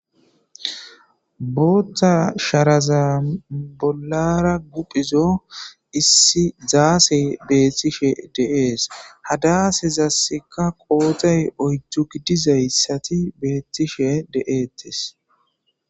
boththan sharazan bolara pudhizo issi zassey betishshe de"es ha dasezasikk qoday oydu gidizysati betishshe de'etes